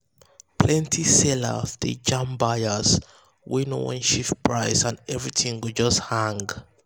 plenty sellers dey jam buyers wey no wan shift price and everything go just hang.